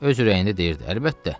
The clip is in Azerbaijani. Öz ürəyində deyirdi.